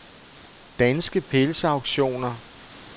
Danske Pels Auktioner